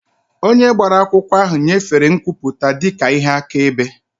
Onye gbara akwụkwọ ahụ nyefere nkwupụta dị ka ihe akaebe.